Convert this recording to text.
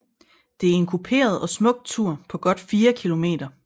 Det er en kuperet og smuk tur på godt fire kilometer